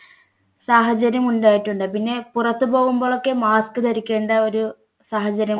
സാഹചര്യം ഉണ്ടായിട്ടുണ്ട് പിന്നെ പുറത്തു പോകുമ്പോൾ ഒക്കെ mask ധരിക്കേണ്ട സാഹചര്യം